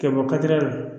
Ka bɔ katira la